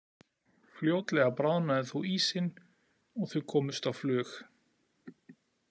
Fljótlega bráðnaði þó ísinn og þau komust á flug.